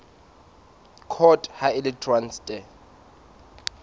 court ha e le traste